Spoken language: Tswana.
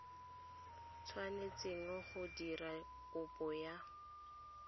tshwanetseng go dira kopo ya